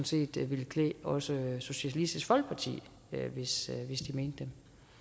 set ville klæde også socialistisk folkeparti hvis de mente